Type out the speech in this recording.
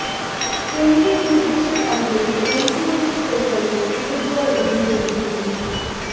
কেন্দ্রের নির্দেশের আগেই এনসিএলপি প্রকল্প তুলে দেওয়ার অভিযোগ হুগলিতে